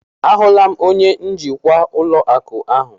A hụla m onye njikwa ụlọ akụ ahụ.